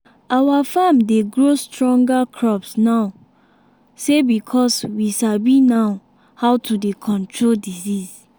our farm dey grow stronger crops now say because we sabi now how to dey control disease